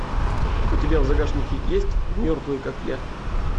у тебя в загашнике есть мертвые как я